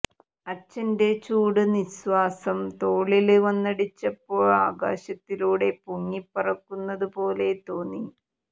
അച്ചന്റെ ചൂടു നിസ്വാസം തോളില് വന്നടിച്ചപ്പൊ അകാശത്തിലൂടെ പൊങ്ങി പറക്കുന്നതു പോലെ തോന്നി